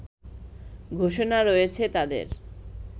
ঘোষণা রয়েছে তাদের